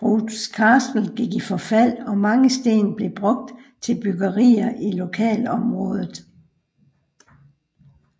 Brough Castle gik i forfald og mange sten blev brugt til byggerier i lokalområdet